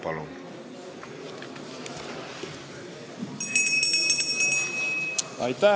Palun!